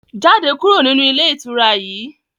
Jáde kúrò nínú ilé ìtura yìí!